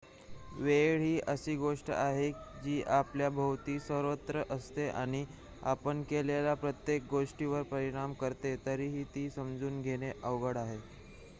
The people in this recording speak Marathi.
वेळ ही अशी गोष्ट आहे जी आपल्या भोवती सर्वत्र असते आणि आपण केलेल्या प्रत्येक गोष्टीवर परिणाम करते तरीही ती समजून घेणे अवघड आहे